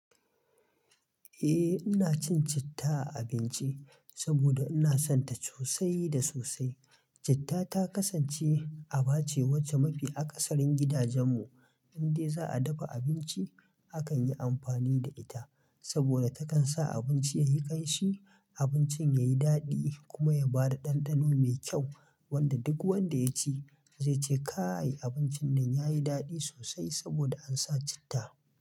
Eh, ina cin citta a abinci saboda ina son ta sosai da sosai. Citta ta kasance a bace wace mafi a cikin gidajemmu in dai za'a dafi abinci, a kan yi amfani da ita saboda takan sa abinci yayi ƙanshi, abincin yayi daɗi kuma ya bada ɗanɗano mai kyau wanda duk wanda yaci zai ce "kai abincin nan yayi daɗi sosai saboda ansa citta".